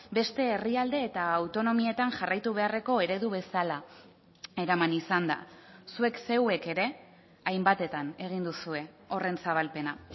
beste herrialde eta autonomietan jarraitu beharreko eredu bezala eraman izan da zuek zeuek ere hainbatetan egin duzue horren zabalpena